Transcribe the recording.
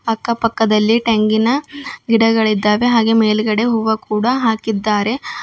ಅಕ್ಕ ಪಕ್ಕದಲ್ಲಿ ತೆಂಗಿನ ಗಿಡಗಳಿದ್ದಾವೆ ಹಾಗೆ ಮೇಲ್ಗಡೆ ಹೂವಾ ಕೂಡ ಹಾಕಿದ್ದಾರೆ.